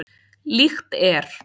Líkt er